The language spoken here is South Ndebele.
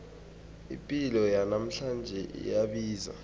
ipilo yanamhlanje iyabiza